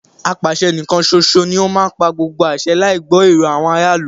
Apàṣẹ níkán ṣoṣo ní o má ń pa gbogbo àṣẹ láì gbọ́ èrò àwọn ará ìlú.